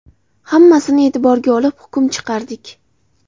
Hammasini e’tiborga olib hukm chiqardik.